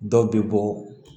Dɔw bɛ bɔ